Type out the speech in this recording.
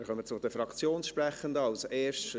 Wir kommen zu den Fraktionssprechenden, als Erstes …